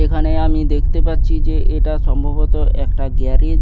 এখানে আমি দেখতে পাচ্ছি যে এটা সম্ভবত একটা গ্যারেজ ।